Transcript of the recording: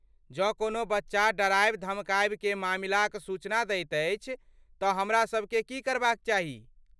जँ कोनो बच्चा डराबय धमकाबय के मामिलाक सूचना दैत अछि तँ हमरासबकेँ की करबाक चाही?